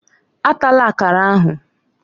Atala Akara ahụ!